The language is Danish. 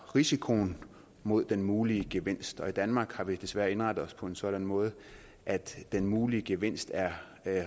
risikoen mod den mulige gevinst og i danmark har vi desværre indrettet os på en sådan måde at den mulige gevinst er